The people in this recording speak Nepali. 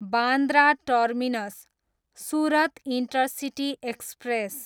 Bandra terminus, Surat intercity express